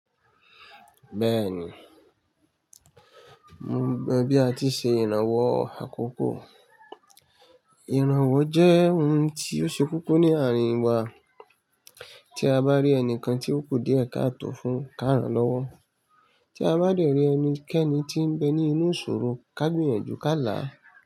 Bẹ́ẹ̀ni, mo mọ̀ bí a ti ṣe ìrànwọ́ àkọ́kọ́. Ìrànwọ́ jẹ́ ohun tí ó ṣe koko ní àárín wa. Tí a bá rí ẹnìkan tí ó kú díẹ̀ ká tọ̀ fún, ká ràn lọ́wọ́. Tí a bá dẹ̀rí ẹnikẹ́ni tí ń bẹ ní inú ìṣòro, ká gbìyànjú ká là á.